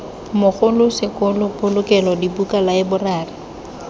mogolo sekolo polokelo dibuka laeborari